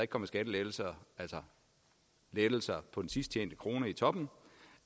kommer skattelettelser altså lettelser på den sidst tjente krone i toppen